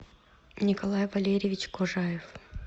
николай валерьевич кожаев